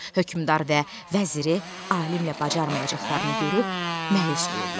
Hökmdar və vəziri alimlə bacarmayacaqlarını görüb məyus olurlar.